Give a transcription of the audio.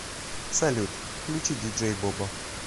салют включи диджей бобо